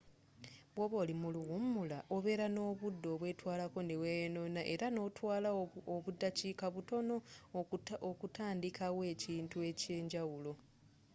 bwoba oli mu luwumula obeera nobudde obwetwalako neweyonona era notwala obudakiika butono okutandikawo ekintu ekyenjawulo